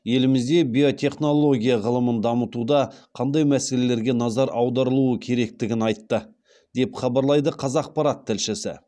елімізде биотехнология ғылымын дамытуда қандай мәселелерге назар аударылуы керектігін айтты деп хабарлайды қазақпарат тілшісі